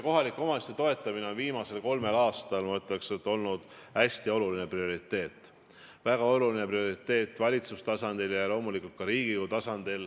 Kohalike omavalitsuste toetamine on viimasel kolmel aastal, ma ütleks, olnud hästi oluline prioriteet, väga oluline prioriteet valitsuse tasandil ja loomulikult ka Riigikogu tasandil.